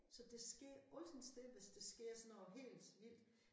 Så der sker altid det hvis der sker sådan noget helt vildt